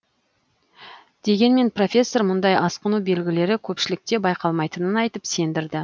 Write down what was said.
дегенмен профессор мұндай асқыну белгілері көпшілікте байқалмайтынын айтып сендірді